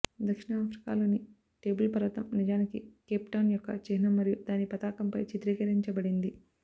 దక్షిణాఫ్రికాలోని table పర్వతం నిజానికి Cape Town యొక్క చిహ్నం మరియు దాని పతాకంపై చిత్రీకరించబడింది